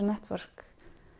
Network